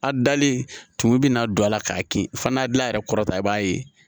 A dalen tumu bɛna don a la k'a kin fana gilan a yɛrɛ kɔrɔ ta i b'a ye